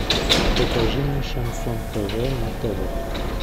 покажи мне шансон тв на тв